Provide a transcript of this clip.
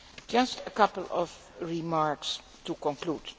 Just a couple of remarks to conclude.